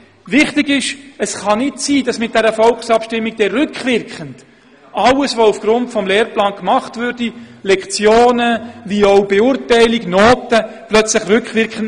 Wichtig ist: Es kann nicht sein, dass mit dieser Volksabstimmung dann rückwirkend alles nichtig würde, was aufgrund des neuen Lehrplans bezüglich Lektionen, Noten usw. gemacht wurde.